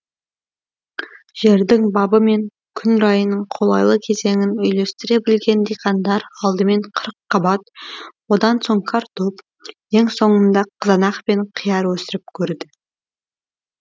жердің бабы мен күн райының қолайлы кезеңін үйлестіре білген диқандар алдымен қырыққабат одан соң картоп ең соңында қызанақ пен қияр өсіріп көрді